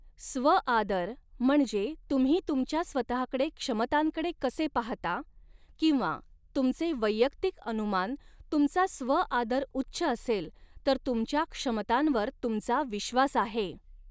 स्व आदर म्हणजे तुम्ही तुमच्या स्वतहाकडे क्षमतांकडे कसे पहाता किंवा तुमचे वैयक्तिक अनुमान तुमचा स्व आदर उच्च असेल तर तुमच्या क्षमतांवर तुमचा विश्वास आहे.